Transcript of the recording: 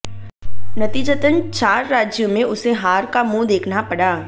नतीजतन चार राज्यों में उसे हार का मुंह देखना पड़ा